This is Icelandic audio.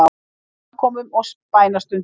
Á samkomum og bænastundum.